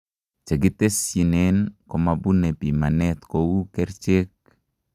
Chekitesyinen komabune piimanet kouu kercheek